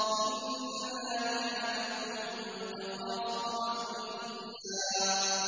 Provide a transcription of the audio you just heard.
إِنَّ ذَٰلِكَ لَحَقٌّ تَخَاصُمُ أَهْلِ النَّارِ